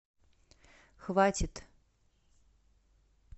хватит